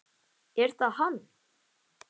Er það hann?